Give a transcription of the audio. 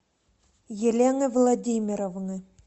елены владимировны